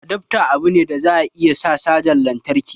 Adafta abu ne da za a iya saka cajan lantarki